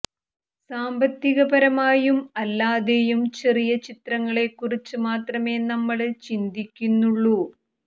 സാമ്പത്തികപരമായും അല്ലാതെയും ചെറിയ ചിത്രങ്ങളെ കുറിച്ച് മാത്രമേ നമ്മള് ചിന്തിയ്ക്കുന്നുള്ളൂ